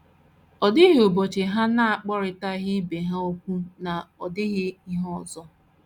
Ọ dịghị ụbọchị ha na - agwarịtaghị ibe ha okwu ma ọ dịghị ihe ọzọ.